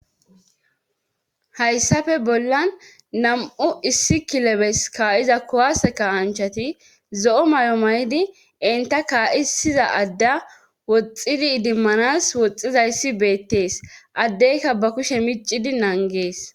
hayssafe bollan nam7u issi kilebes kaa7iza kowaseka anchati zo7o may7o may7idi inta kaa7isiza adda woxxidi idimmanas woxxizayssi beettees addeyka ba kushe miccidi nangees